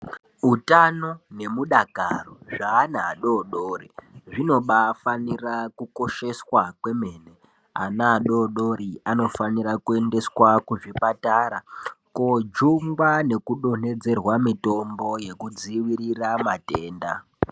Utano nemudakaro zveana adodori zvinobafanira kukosheswa kwemene ana adodori anofanira kuendeswa kuzvipatara kojungwa nekudonhodzerwa mitombo yekudzivirirwa matenda.